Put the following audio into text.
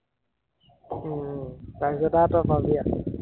উম তাৰপিছত আৰু তই পাবি আও